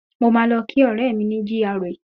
Mo máa lọ kí ọ̀rẹ́ mi ní GRA